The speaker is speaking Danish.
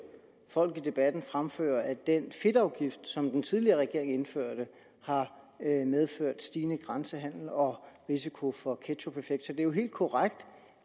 folk i debatten fremføre at den fedtafgift som den tidligere regering indførte har medført en stigende grænsehandel og risiko for ketchupeffekt så det er jo helt korrekt